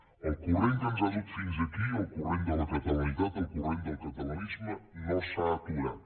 el corrent que ens ha dut fins aquí el corrent de la catalanitat el corrent del catalanisme no s’ha aturat